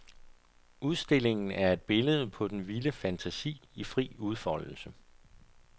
Udstillingen er et billede på den vilde fantasi i fri udfoldelse.